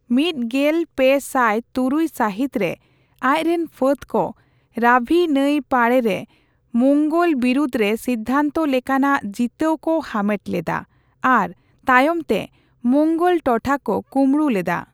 ᱢᱤᱛᱜᱮᱞᱯᱮᱥᱟᱴ ᱛᱩᱨᱩᱭ ᱥᱟᱦᱤᱛ ᱨᱮ, ᱟᱡ ᱨᱮᱱ ᱯᱷᱟᱹᱫᱽ ᱠᱚ ᱨᱟᱵᱷᱤ ᱱᱟᱹᱭ ᱯᱟᱲᱨᱮ ᱢᱳᱝᱜᱳᱞ ᱵᱤᱨᱩᱫᱽ ᱨᱮ ᱥᱤᱫᱽᱫᱷᱟᱱᱛᱚ ᱞᱮᱠᱟᱱᱟᱜ ᱡᱤᱛᱟᱹᱣ ᱠᱚ ᱦᱟᱢᱮᱴ ᱞᱮᱫᱟ ᱟᱨ ᱛᱟᱭᱚᱢ ᱛᱮ ᱢᱳᱝᱜᱚᱞ ᱴᱚᱴᱷᱟ ᱠᱚ ᱠᱩᱸᱵᱲᱩ ᱞᱮᱫᱟ ᱾